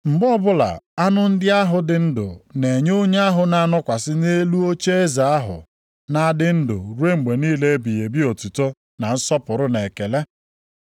Mgbe ọbụla anụ ndị ahụ dị ndụ na-enye onye ahụ na-anọkwasị nʼelu ocheeze ahụ na-adị ndụ ruo mgbe niile ebighị ebi otuto na nsọpụrụ na ekele,